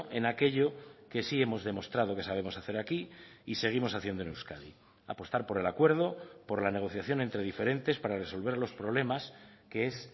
en aquello que sí hemos demostrado que sabemos hacer aquí y seguimos haciendo en euskadi apostar por el acuerdo por la negociación entre diferentes para resolver los problemas que es